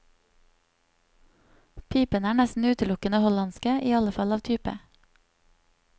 Pipene er nesten utelukkende hollandske, i alle fall av type.